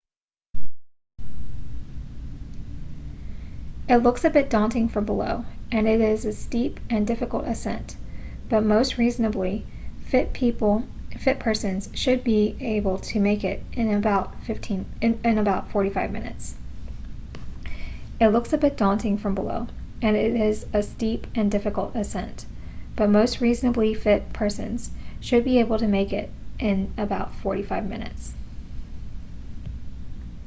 it looks a bit daunting from below and it is a steep and difficult ascent but most reasonably fit persons should be able to make it in about 45 minutes